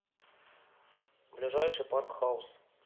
ближайший парк хаус